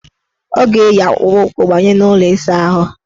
Ọ ga-eyi akpụkpụụkwụ banye n' ụlọ ịsaahụ.